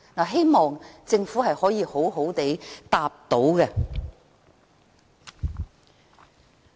希望政府稍後回答這個問題。